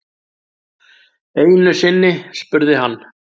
Einusinni spurði hann